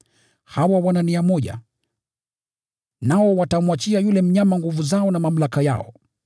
Hawa wana nia moja, nao watamwachia yule mnyama nguvu zao na mamlaka yao.